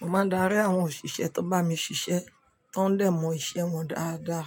Mo máa darí àwọn òṣìṣẹ́ tó bá mi ṣiṣẹ́, tó ń dẹ mọ iṣẹ́ wọn dáadáa.